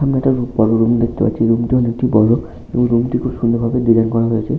বড় রুম দেখতে পাচ্ছি। রুম টি অনেকটি বড় এবং রুম টি খুব সুন্দর ভাবে ডিজাইন করা হয়েছে।